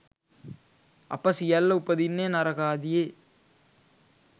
අප සියල්ල උපදින්නේ නරකාදියේ